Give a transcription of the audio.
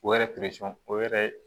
O yɛrɛ o yɛrɛ